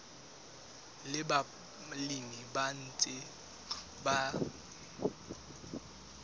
le balemi ba ntseng ba